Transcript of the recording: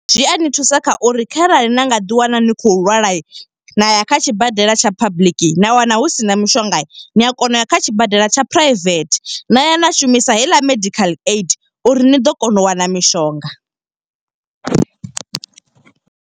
Zwi a ni thusa kha uri kharali na nga ḓi wana ni khou lwala, na ya kha tshibadela tsha public na wana husina mishonga. Ni a kona uya kha tshibadela tsha private, na ya na shumisa heiḽa medical aid uri ni ḓo kona u wana mishonga.